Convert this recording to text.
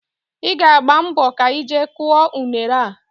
Ị ga-agba mbọ ka ị jee kụọ unere a